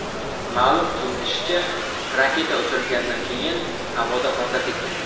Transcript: Ma’lum qilinishicha, raketa uchirilgandan keyin havoda portlab ketgan.